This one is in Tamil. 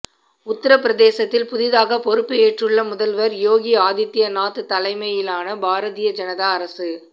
உத்தரப்பிரதேசத்தில் புதிதாக பொறுப்பு ஏற்றுள்ள முதல்வர் யோகி ஆதித்யநாத் தலைமையிலானபாரதிய ஜனதா அரசு